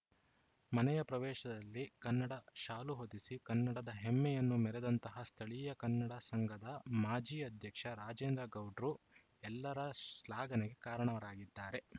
ಮನೆಯ ಪ್ರವೇಶದಲ್ಲಿ ಕನ್ನಡ ಶಾಲು ಹೊದಿಸಿ ಕನ್ನಡದ ಹೇಮ್ಮೆಯನ್ನು ಮೆರೆದಂತಹ ಸ್ಥಳೀಯ ಕನ್ನಡ ಸಂಘದ ಮಾಜಿ ಅಧ್ಯಕ್ಷ ರಾಜೇಂದ್ರ ಗೌಡ್ರು ಎಲ್ಲರ ಶ್ಲಾಘನೆ ಕಾಣರಾಗಿದ್ದಾರೆ